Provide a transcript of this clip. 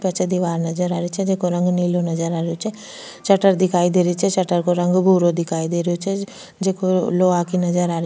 पीछे दिवार नजर आ री छे जेको रंग नीलो नजर आ रेहो छे शटर दिखाई दे री छे शटर को रंग भूरो दिखाई दे रो छे जेको लोहा की नजर आ री।